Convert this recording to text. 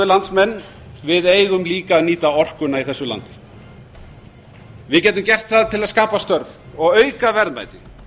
landsmenn við eigum líka að nýta orkuna í þessu landi við getum gert það til að skapa störf og auka verðmæti